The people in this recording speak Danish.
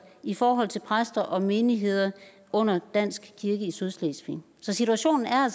i forhold til præster og menigheder under dansk kirke i sydslesvig så situationen er